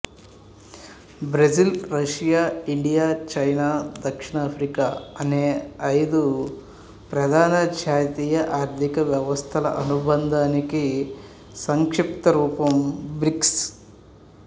Brazil Russia India China దక్షిణాఫ్రికా అనే ఐదు ప్రధాన జాతీయ ఆర్థిక వ్యవస్థల అనుబంధానికి సంక్షిప్త రూపం బ్రిక్స్